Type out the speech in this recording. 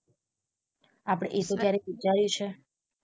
આપડે એ તો ક્યારેક વિચાર્યુ છે